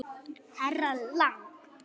Herra Lang.